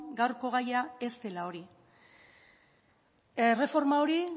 gaurko gaia ez dela hori erreforma hori